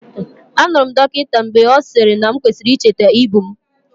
Anụrụ m dọkịta mgbe ọ sịrị na m kwesịrị icheta ibu m.